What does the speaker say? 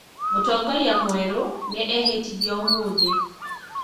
Mũtongoria mwerũ nĩ ehĩtithio ũmũthĩ